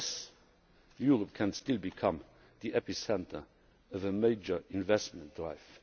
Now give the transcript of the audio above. stagnation. Yes, Europe can still become the epicentre of a major investment